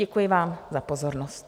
Děkuji vám za pozornost.